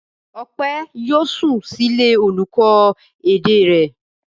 Ọpẹ́ yóò sùn sílé olùkọ́ èdè rẹ̀?